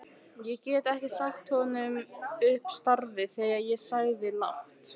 Ég get ekki sagt honum upp starfi sagði ég lágt.